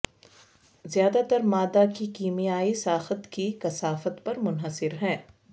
زیادہ تر مادہ کی کیمیائی ساخت کی کثافت پر منحصر ہے